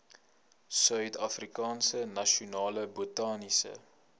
suidafrikaanse nasionale botaniese